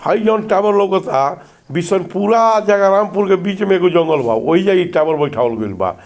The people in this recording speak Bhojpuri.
हई जोन टॉवर लउकता बिशनपुरा रामपुर के बीच में एगो जंगल बा वही जगह टॉवर बैठावल गइल बा।